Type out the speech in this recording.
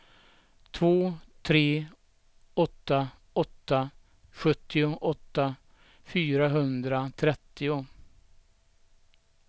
två tre åtta åtta sjuttioåtta fyrahundratrettio